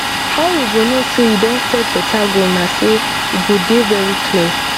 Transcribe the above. how you go know say you don set beta goal na say e go dey very clear